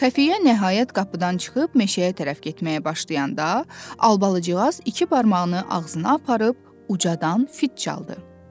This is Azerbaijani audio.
Xəfiyyə nəhayət qapıdan çıxıb meşəyə tərəf getməyə başlayanda, Albalıcığaz iki barmağını ağzına aparıb ucadan fit çaldı.